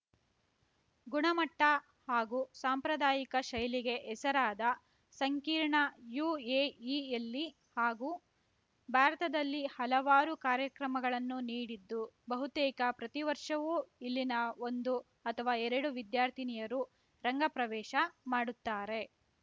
ಗುಣಮಟ್ಟಹಾಗು ಸಾಂಪ್ರದಾಯಿಕ ಶೈಲಿಗೆ ಹೆಸರಾದ ಸಂಕೀರ್ಣ ಯು ಎ ಇ ಯಲ್ಲಿ ಹಾಗು ಭಾರತದಲ್ಲಿ ಹಲವಾರು ಕಾರ್ಯಕ್ರಮಗಳನ್ನು ನೀಡಿದ್ದು ಬಹುತೇಕ ಪ್ರತಿವರ್ಷವೂ ಇಲ್ಲಿನ ಒಂದು ಅಥವಾ ಎರಡು ವಿದ್ಯಾರ್ಥಿನಿಯರು ರಂಗ ಪ್ರವೇಶ ಮಾಡುತ್ತಾರೆ